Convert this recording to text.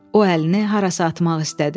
O əlini harasa atmaq istədi.